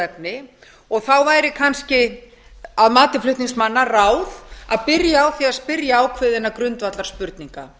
efni þá væri kannski að mati flutningsmanna ráð að byrja á því að spyrja ákveðinna grundvallarspurninga